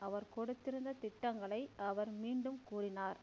அவர் கொடுத்திருந்த திட்டங்களை அவர் மீண்டும் கூறினார்